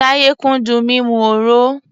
Táyé kúndùn mímu òro.